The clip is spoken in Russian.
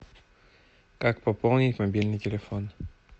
как пополнить мобильный телефон